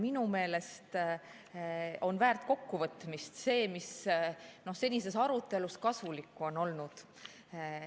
Minu meelest on kokkuvõtmist väärt see, mis senises arutelus kasulikku on olnud.